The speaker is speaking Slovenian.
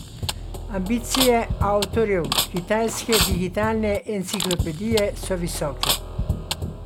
Ambicije avtorjev kitajske digitalne enciklopedije so visoke.